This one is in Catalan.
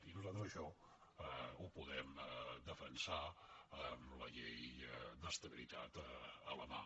i nosaltres això ho podem defensar amb la llei d’estabilitat a la mà